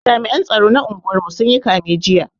Jami'an tsaro na unguwar mu sun yi kame jiya